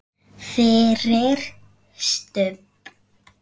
FYRIR STUBB!